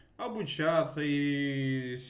обучаться и